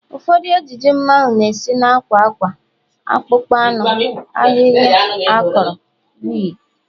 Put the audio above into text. Ụfọdụ ejiji mmanwu na-esi na akwa akwa, akpụkpọ anụ, ahịhịa akọrọ wdg